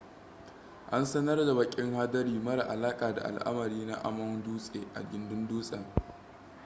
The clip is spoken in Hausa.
an sanar da bakin hadari mara alaka da al'amari na amon dutse a gindin dutsen